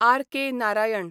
R.K.. Narayan